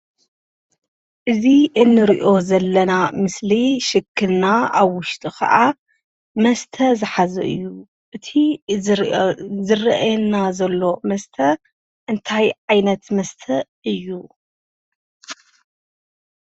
እዚ እንሪኦ ዘለና ምስሊ ሽክና ኣብ ውሽጡ ከዓ መስተ ዝሓዘ እዩ፡፡ እቲ ዝርአየና ዘሎ መስተ እንታይ ዓይነት መስተ እዩ?